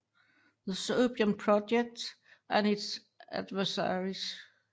The Serbian Project and its Adversaries